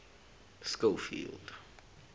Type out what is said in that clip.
schofield